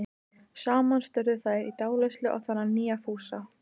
Saman störðu þær í dáleiðslu á þennan nýja Fúsa.